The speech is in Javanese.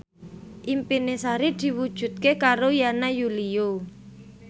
impine Sari diwujudke karo Yana Julio